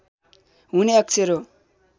हुने अक्षर हो